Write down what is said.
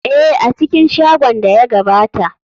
Ee, a cikin shagon da ya gabata.